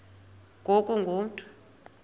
ngoku ungu mntu